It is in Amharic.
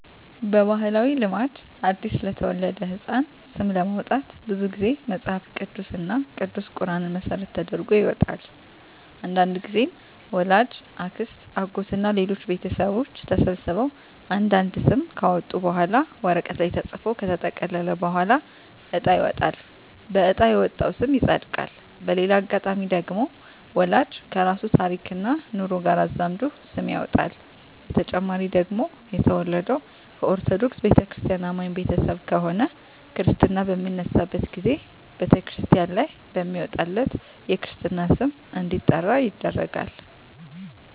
በባህላዊ ልማድ አዲስ ለተወለደ ህጻን ስም ለማውጣት ብዙ ግዜ መጸሀፍ ቅዱስ እና ቅዱስ ቁራንን መሰረት ተደርጎ ይወጣል። አንዳንድግዜም ወላጅ፣ አክስት፣ አጎት እና ሌሎች ቤተሰቦች ተሰብስበው አንድ አንድ ስም ካወጡ በኋላ ወረቀት ላይ ተጽፎ ከተጠቀለለ በኋላ እጣ ይወጣል በእጣ የወጣው ስም ይጸድቃል። በሌላ አጋጣሚ ደግሞ ወላጅ ከራሱ ታሪክና ኑሮ ጋር አዛምዶ ስም ያወጣል። በተጨማሪ ደግሞ የተወለደው ከኦርተዶክ ተዋህዶ አማኝ ቤተሰብ ከሆነ ክርስታ በሚነሳበት ግዜ በተክርስቲያን ላይ በሚወጣለት የክርስትና ስም እንዲጠራ ይደረጋል።